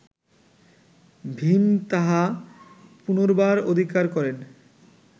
ভীম তাহা পুনর্বার অধিকার করেন